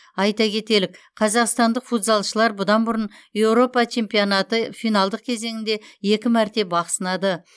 айта кетелік қазақстандық футзалшылар бұдан бұрын еуропа чемпионаты финалдық кезеңінде екі мәрте бақ сынады